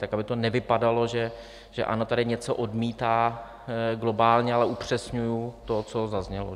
Tak aby to nevypadalo, že ANO tady něco odmítá globálně, ale upřesňuji to, co zaznělo.